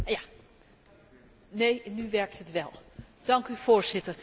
Ik zit met stijgende verbazing naar dit debat te luisteren.